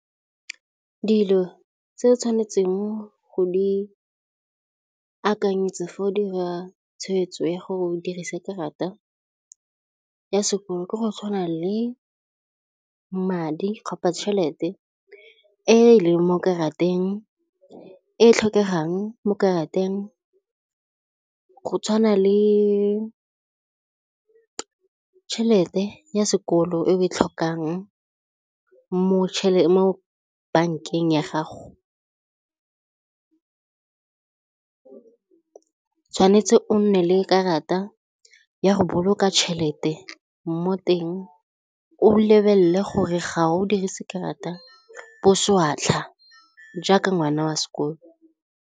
Dilo tse o tshwanetseng go di akanyetsa fa o dira tshwetso ya go dirisa karata ya sekoloto ke go tshwana le madi tšhelete e leng mo karateng e e tlhokegang mo karateng go tshwana le tšhelete ya sekolo e o e tlhokang mo bankeng ya gago, o tshwanetse o nne le karata ya go boloka tšhelete mo teng o lebelele gore ga o dirise karata boswatlha jaaka ngwana wa sekolo.